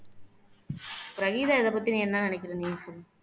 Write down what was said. பிரகிதா இதைப்பத்தி நீங்க என்ன நினைக்கிறீங்க சொல்லுங்க